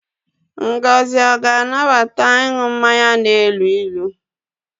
Ngozi ọ ga-anabata ịnụ mmanya na-elu ilu?